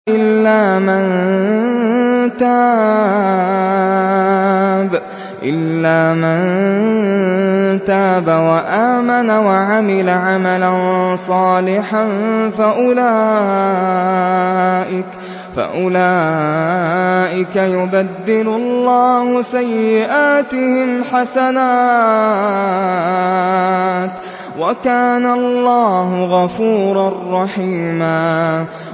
إِلَّا مَن تَابَ وَآمَنَ وَعَمِلَ عَمَلًا صَالِحًا فَأُولَٰئِكَ يُبَدِّلُ اللَّهُ سَيِّئَاتِهِمْ حَسَنَاتٍ ۗ وَكَانَ اللَّهُ غَفُورًا رَّحِيمًا